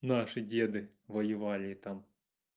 наши деды воевали там